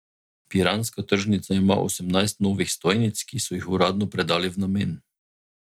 Piranska tržnica ima osemnajst novih stojnic, ki so jih uradno predali v namen.